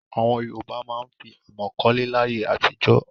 Àwọn Yorùbá máa ń fi àmọ̀ kọ́lé láyé àtijọ́.